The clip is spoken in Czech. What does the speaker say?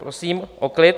Prosím o klid!